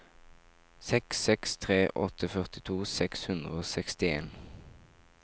seks seks tre åtte førtito seks hundre og sekstien